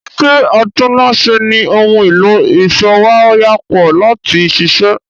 Ṣé atúnnáṣe ní ohun èlò ìsowáyàpọ̀ láti ṣiṣẹ́?